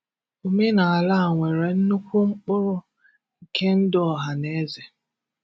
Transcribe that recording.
Omenala à nwere nnukwu mkpụrụ nke ndụ ọ́hà na ézè